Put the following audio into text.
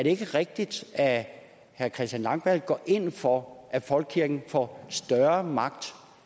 ikke rigtigt at herre christian langballe går ind for at folkekirken får større magt